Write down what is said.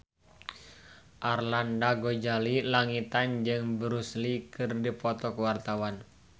Arlanda Ghazali Langitan jeung Bruce Lee keur dipoto ku wartawan